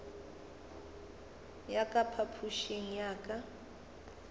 ya ka phapošing ya ka